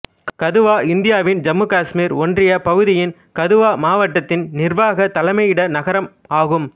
கதுவா இந்தியாவின் ஜம்முகாஷ்மீர் ஒன்றியப் பகுதியின் கதுவா மாட்டத்தின் நிர்வாகத் தலைமையிட நகரம் ஆகும்